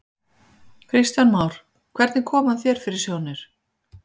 Kristján Már: Hvernig kom hann þér fyrir sjónir?